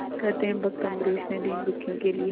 कहते हैं भक्त अम्बरीश ने दीनदुखियों के लिए